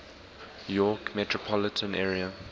york metropolitan area